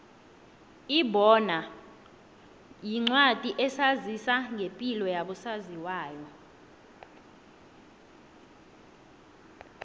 ibono yincwadi esazisa ngepilo yabo saziwayo